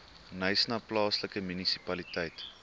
knysna plaaslike munisipaliteit